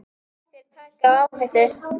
Þér takið áhættu.